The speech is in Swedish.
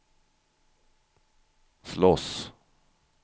slåss